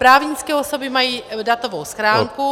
Právnické osoby mají datovou schránku -